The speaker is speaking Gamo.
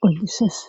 qol7ises